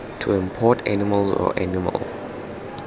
to import animals or animal